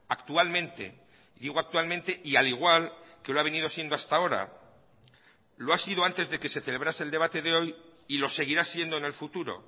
actualmente digo actualmente y al igual que lo ha venido siendo hasta ahora lo ha sido antes de que se celebrase el debate de hoy y lo seguirá siendo en el futuro